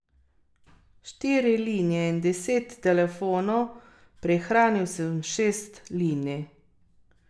Štiri linije in deset telefonov, prihranil sem šest linij.